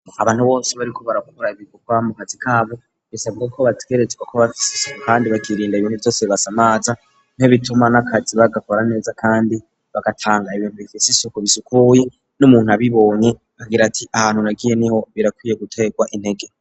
Abantu bose bariko baragkura ibigurwa mu kazi kabo bisabwe ko bategerezwa ko bafise kandi bakirinda ibinte vyose basa maza niho bituma n'akazi bagakora neza kandi bagatanga ibintu bifisa isuku bisukuye n'umuntu abibonye agira ati ahantu nagiye niho birakwiye gutekwa intege.